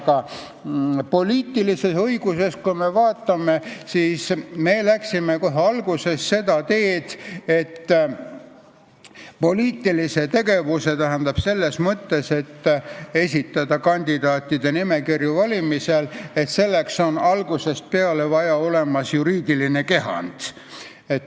Aga poliitilises õiguses me läksime kohe alguses seda teed, et selleks, et esitada valimisel kandidaatide nimekirju, on algusest peale olnud nõutav juriidiline kehand.